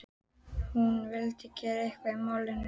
Hún vildi gera eitthvað í málinu.